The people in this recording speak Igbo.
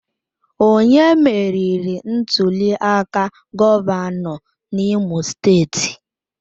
Onye meriri ntuliaka gọvanọ n'Imo steeti?